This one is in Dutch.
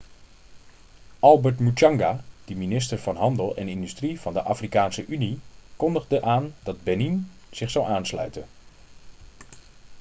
albert muchanga de minister van handel en industrie van de afrikaanse unie kondigde aan dat benin zich zou aansluiten